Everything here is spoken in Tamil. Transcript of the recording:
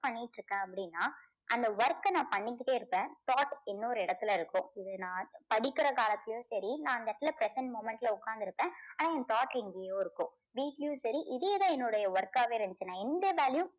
பண்ணிட்டு இருக்கேன் அப்படின்னா அந்த work அ நான் பண்ணிக்கிட்டே இருப்பேன் thought இன்னொரு இடத்துல இருக்கும். இது நான் படிக்கிற காலத்துலேயும் சரி நான் அந்த இடத்துல present moment ல உக்காந்திருப்பேன். ஆனா என் thought எங்கேயோ இருக்கும் வீட்லயும் சரி இதே தான் என்னுடைய work காவே இருந்துச்சு. நான் எந்த வேலையும்